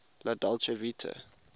la dolce vita